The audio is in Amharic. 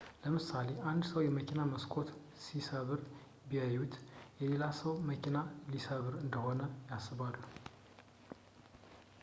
ለምሳሌ አንድ ሰው የመኪና መስኮት ሲሰብር ቢይዩት የሌላን ሰው መኪና ሊሰርቅ እንደሆነ ያስባሉ